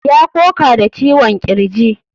Ya koka da ciwon kirji.